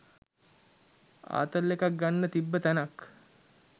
ආතල් එකක් ගන්න තිබ්බ තැනක්